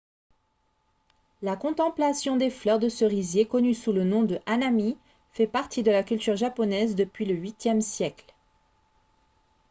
la contemplation des fleurs de cerisier connue sous le nom de hanami fait partie de la culture japonaise depuis le viiie siècle